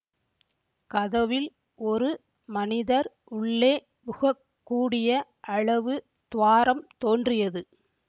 கதவில் ஒரு மனிதர் உள்ளே புகக் கூடிய அளவு துவாரம் தோன்றியது